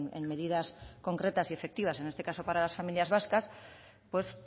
en medidas concretas y efectivas en este caso para las familias vascas pues